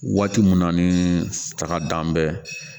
Waati mun na ni saga dan bɛ